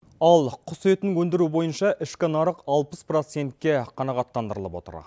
ал құс етін өндіру бойынша ішкі нарық алпыс процентке қанағаттандырылып отыр